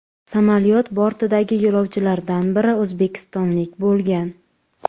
Samolyot bortidagi yo‘lovchilardan biri o‘zbekistonlik bo‘lgan .